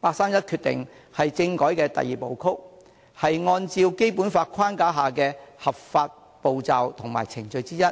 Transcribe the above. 八三一決定是政改的第二步曲，是按照《基本法》框架下的合法步驟和程序之一，